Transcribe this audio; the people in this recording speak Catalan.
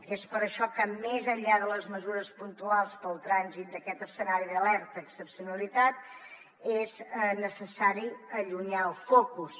i és per això que més enllà de les mesures puntuals per al trànsit d’aquest escenari d’alerta i excepcionalitat és necessari allunyar el focus